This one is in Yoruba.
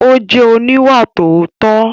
Ó máa jẹ́ oníwàòótọ́.